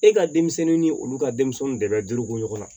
E ka denmisɛnninw ni olu ka denmisɛnninw de bɛ duruko ɲɔgɔn na